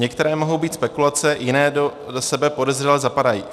Některé mohou být spekulace, jiné do sebe podezřele zapadají.